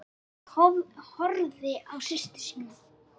Heiða horfði á systur sína.